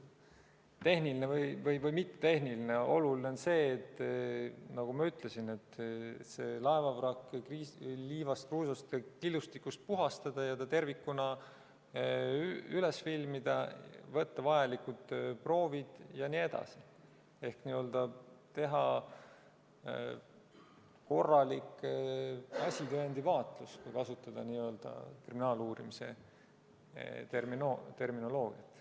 Tehniline või mitte tehniline, oluline on see, nagu ma ütlesin, et laevavrakk liivast, kruusast ja killustikust puhastada ning ta tervikuna üles filmida, võtta vajalikud proovid jne ehk teha n-ö korralik asitõendivaatlus, kui kasutada kriminaaluurimise terminoloogiat.